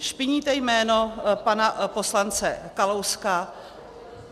Špiníte jméno pana poslance Kalouska.